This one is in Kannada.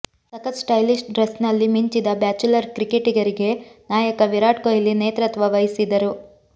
ಸಖತ್ ಸ್ಟೈಲಿಶ್ ಡ್ರೆಸ್ ನಲ್ಲಿ ಮಿಂಚಿದ ಬ್ಯಾಚುಲರ್ ಕ್ರಿಕೆಟಿಗರಿಗೆ ನಾಯಕ ವಿರಾಟ್ ಕೊಹ್ಲಿ ನೇತೃತ್ವ ವಹಿಸಿದರು